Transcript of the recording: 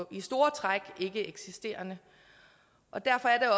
i store træk ikkeeksisterende derfor er